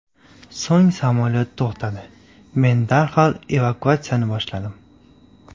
So‘ng samolyot to‘xtadi, men darhol evakuatsiyani boshladim.